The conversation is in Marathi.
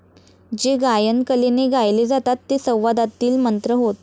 जे गायन कलेने गायले जातात ते संवादातील मंत्र होत।